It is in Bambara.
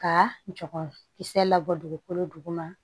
Ka jɔ kisɛ labɔ dugukolo duguma